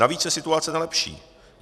Navíc se situace nelepší.